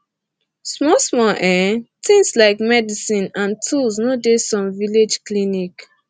small small um tins like medicine and tools no dey some village clinic